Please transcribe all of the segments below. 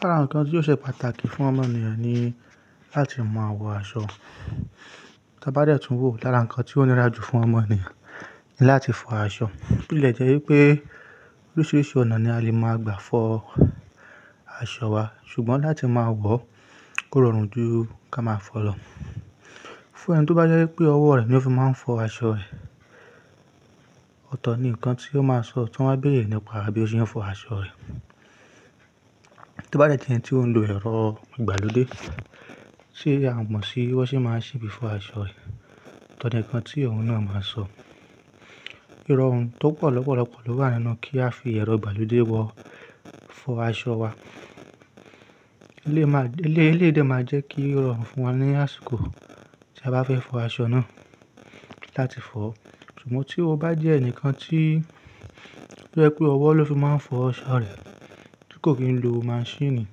Lára nǹkan tí ó ṣe pàtàkì fún ọmọ ènìyàn ni láti máa wọ aṣọ. Tí a bá dẹ̀ tún wò lára nǹkan tí ó nira jù fún ọmọ ènìyàn ni láti fọ aṣọ. Bí lẹ̀ jẹ́ wípé oríṣìíríṣìí ọ̀nà ni a lè máa gbà fọ aṣọ wa ṣùgbọ́n láti máa wọ̀ kórọrùn jù ká máa fọ̀ lọ. Fún ẹni tó bá jẹ́ pé ọwọ́ rẹ̀ ni ó fi máa ń fọ aṣọ rẹ̀, ọ̀tọ̀ ni nǹkan tí ó máa sọ tí wọ́n bá bẹ̀rẹ̀ nípa bí ó ṣe ń fọ aṣọ rẹ̀. Tí ó bá jẹ́ ẹni tí ó ń lo ẹ̀rọ̀ ìgbàlódé, ṣé a mọ̀ sí bí wọ́n ṣé máa ń ṣe bíi fọ aṣọ rẹ̀? Ọ̀tọ̀ ni nǹkan tí ẹ̀rọ̀ náà máa sọ. Irọ́ ohun tó pọ̀ lọ́pọ̀lọ́pọ̀ ló wà nínú kí a fi ẹ̀rọ ìgbàlódé wọ̀ fọ aṣọ wa. Ilé máa-- ilé yìí dá máa jẹ́ kí irọ́ fún wọn ní àsìkò tí a bá fẹ́ fọ aṣọ náà láti fọ̀. Sùgbọ́n tí o bá jẹ́ ẹnìkan tí ó jẹ́ pé ọwọ́ ló fi máa ń fọ aṣọ rẹ̀ tí kò kín ń lo maṣíìnì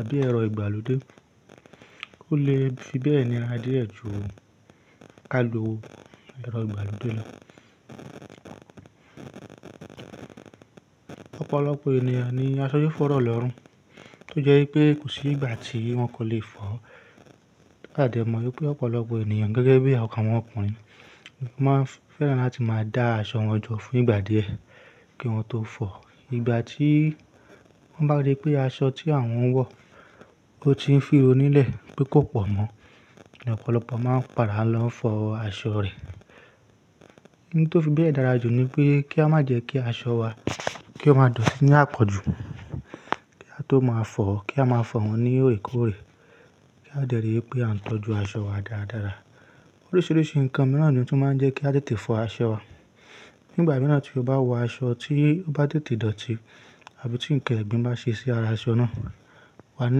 àbí ẹ̀rọ ìgbàlódé, kò le fi bẹ́ẹ̀ ni á dẹ̀ ẹ̀tù óun kákọ́ lo wọ̀ ẹ̀rọ ìgbàlódé náà. Ọ̀pọ̀lọpọ̀ ènìyàn ni aṣọ fi fò rọ̀ lọ́rùn tó jẹ́ wípé kò sí ìgbà tí wọ́n kò lè fọ̀. A dè mọ̀ wípé ọ̀pọ̀lọpọ̀ ènìyàn gẹ́gẹ́ bí i ọ̀kàn wọn ọkùnrin máa ń fẹ́ràn láti máa dá aṣọ wọn jọ fún ìgbà díẹ̀ kí wọ́n tó fọ̀. Ìgbà tí wọ́n bá rí pé aṣọ tí àwọ́n wọ̀ ó ti ń fíro nílẹ̀ pé kò pọ̀ mọ́, lọ̀pọ̀lọpọ̀ máa ń padà lọ fọ aṣọ rẹ̀. Ní tó fi bẹ́ẹ̀ dára jù ni pé kí a má jẹ́ kí aṣọ wa kí ó máa dọ̀tí ní àpọ̀jù, kí a tó máa fọ̀, kí a máa fọ̀ wọ́n ní òrìkò̀òrì, kí a dẹ̀ rí pé à ń tọ́jú aṣọ wa dáradára. Oríṣiríṣi nǹkan mìíràn ni ó tún máa ń jẹ́ kí a tẹ̀tì fọ aṣọ wa. Nígbà mìíràn tí o bá wọ aṣọ tí o bá tẹ̀tì dọ̀tì àbí tí nǹkẹ́ gbín bá ṣe sí ara aṣọ náà, wà á ní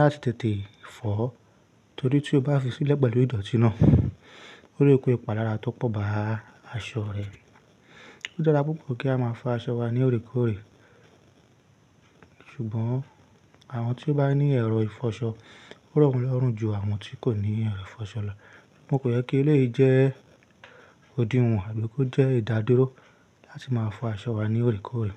láti tẹ̀tì fọ̀ ó torí tí o bá fi sílẹ̀ pẹ̀lú ìdọ̀tí náà, ó lékó ipàlára tó pọ̀ bá aṣọ rẹ̀. Ó dára púpọ̀ kí a máa fọ aṣọ wa ní òrìkòòrì ṣùgbọ́n àwọn tí ó bá ní ẹ̀rọ ìfọṣọ, ó rọ́ wọ́n lọ́rùn ju àwọn tí kò ní ẹ̀rọ ìfọṣọ lọ. Mo kò lè kí ilé yìí jẹ́ odí wọ̀n àbí kó jẹ́ ìdádóró láti máa fọ aṣọ wa ní òrìkòòrì.